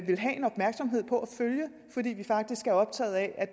følge fordi vi faktisk er optaget af